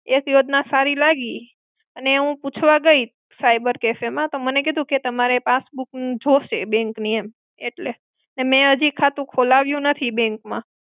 એક યોજના સારી લાગી. અને હું પૂછવા ગઈ cyber-café માં તો મને કીધું કે તમારે passbook જોશે bank ની એમ. એટલે મેં હજી ખાતું ખોલાવ્યું નેથી bank માં.